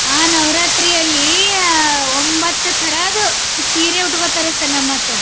ಆ ನವರಾತ್ರಿಯಲ್ಲಿ ಒಂಬತ್ತತರದ್ದು ಸೀರೆ ಉಟ್ಕೋತಾರೆ sir ನಮ್ಮ್ ಹತ್ರ.